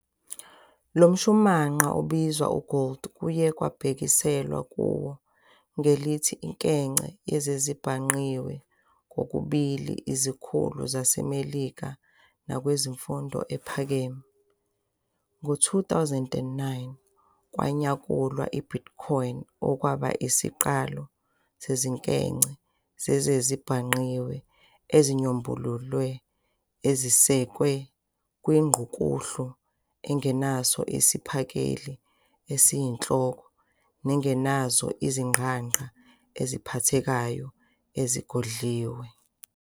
Lomshumanqa obizwa "e-gold" kuye kwabhekiselwa kuwo ngelithi "inkece yezezibhangqiwe" kokubili izikhulu zaseMelika nakwezemfundo ephakeme. Ngowezi-2009, kwanyakulwa i-Bitcoin, okwaba isiqalo sezinkece zezezibhangqiwe ezinyombululiwe ezisekwe kwingqukuhlu engenaso isiphakeli esiyinhloko, nengenazo izingqangqa eziphathekayo ezigodliwe.